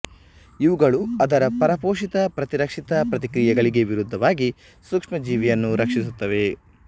ಇವುಗಳು ಅದರ ಪರಪೋಷಿಯ ಪ್ರತಿರಕ್ಷಿತ ಪ್ರತಿಕ್ರಿಯೆಗಳಿಗೆ ವಿರುದ್ಧವಾಗಿ ಸೂಕ್ಷ್ಮಜೀವಿಯನ್ನು ರಕ್ಷಿಸುತ್ತವೆ